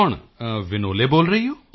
ਕੌਣ ਵਿਨੋਲੇ ਬੋਲ ਰਹੀ ਹੋ